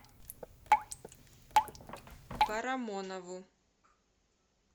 парамонову